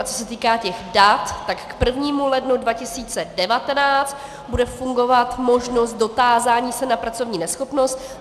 A co se týká těch dat, tak k 1. lednu 2019 bude fungovat možnost dotázání se na pracovní neschopnost.